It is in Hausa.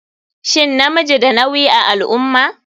Shin namiji na da nawi a alummah?